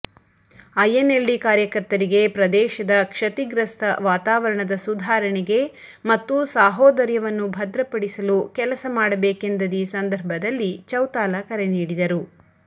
INLD ಕಾರ್ಯಕರ್ತರಿಗೆ ಪ್ರದೇಶದ ಕ್ಷತಿಗ್ರಸ್ತ ವಾತಾವರಣದ ಸುಧಾರಣೆಗೆ ಮತ್ತು ಸಾಹೋದರ್ಯವನ್ನು ಭದ್ರಪಡಿಸಲು ಕೆಲಸ ಮಾಡಬೇಕೆಂದದೀ ಸಂದರ್ಭದಲ್ಲಿ ಚೌತಾಲ ಕರೆನೀಡಿದರು